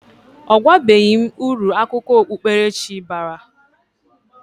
Ọ gwabeghi m uru akụkọ okpukpere chi bara.